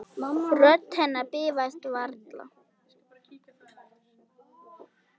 Rödd hennar bifast varla.